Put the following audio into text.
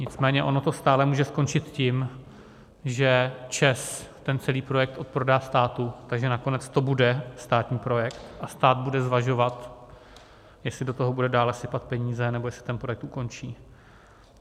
Nicméně ono to stále může skončit tím, že ČEZ ten celý projekt odprodá státu, takže nakonec to bude státní projekt a stát bude zvažovat, jestli do toho bude dále sypat peníze, nebo jestli ten projekt ukončí.